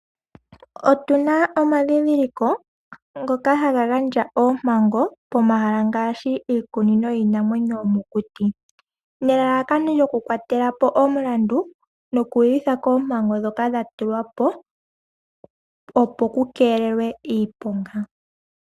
Otuna omadhidhiliko ngoka haga gandja oompango pomahala ngaashi iikunino yiinamwenyo yomokuti, nelalakano lyokukwatela po omulandu nokwiiyutha koompango dhoka dhatulwa po opo kukeelelwe iiponga.